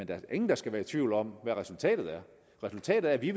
da ingen der skal være i tvivl om hvad resultatet er resultatet er at vi